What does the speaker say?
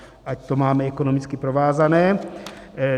Ať to máme ekonomicky provázané.